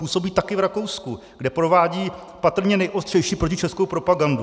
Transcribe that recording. Působí také v Rakousku, kde provádí patrně nejostřejší protičeskou propagandu.